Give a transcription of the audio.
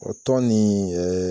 O tɔn nin ɛɛ